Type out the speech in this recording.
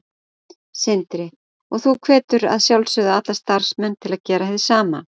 Sindri: Og þú hvetur að sjálfsögðu alla starfsmenn til að gera hið sama?